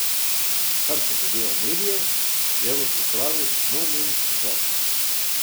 Kar pa zadeva medije, je v pripravi nov medijski zakon.